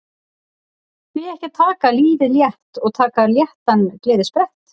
Því ekki að taka lífið létt og taka léttan gleðisprett